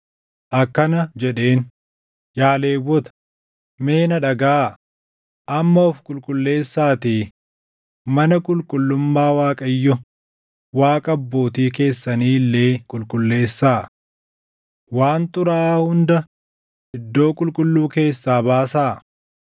akkana jedheen; “Yaa Lewwota, mee na dhagaʼaa! Amma of qulqulleessaatii mana qulqullummaa Waaqayyo Waaqa abbootii keessanii illee qulqulleessaa. Waan xuraaʼaa hunda iddoo qulqulluu keessaa baasaa.